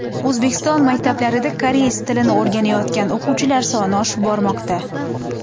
O‘zbekiston maktablarida koreys tilini o‘rganayotgan o‘quvchilar soni oshib bormoqda.